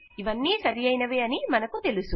ఇవన్నీ సరియైనవే అని మనకు తెలుసు